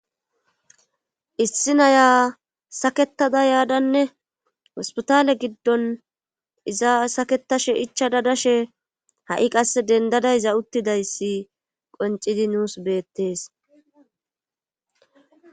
issi naya saketada yaadanne hospitale giddon iza saketashe ichada dashe ha7i qasse dendadayza uttidayssi qoncidi nuus beettees